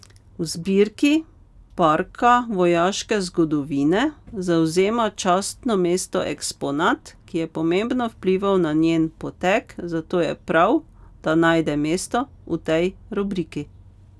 V zbirki Parka vojaške zgodovine zavzema častno mesto eksponat, ki je pomembno vplival na njen potek, zato je prav, da najde mesto v tej rubriki.